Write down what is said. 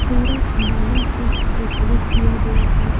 पूरा बैलून से डेकोरेट किया गया है।